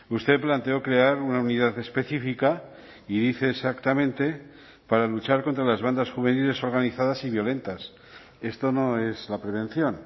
usted planteó crear una unidad específica y dice exactamente para luchar contra las bandas juveniles organizadas y violentas esto no es la prevención